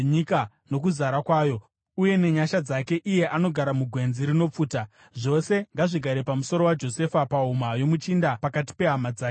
nezvipo zvakanakisisa zvenyika nokuzara kwayo uye nenyasha dzake iye anogara mugwenzi rinopfuta. Zvose ngazvigare pamusoro waJosefa, pahuma yomuchinda pakati pehama dzake.